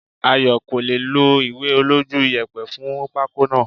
Ayo kò lè è lo ìwé olójú iyẹ̀pẹ̀ fún pako náà.